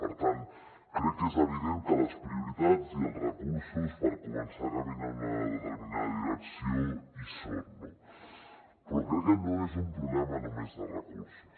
per tant crec que és evident que les prioritats i els recursos per començar a caminar en una determinada direcció hi són no però crec que no és un problema només de recursos